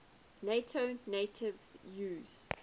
nato navies use